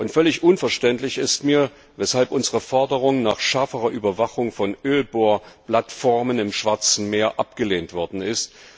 Völlig unverständlich ist mir, weshalb unsere Forderung nach schärferer Überwachung von Ölbohrplattformen im Schwarzen Meer abgelehnt worden ist.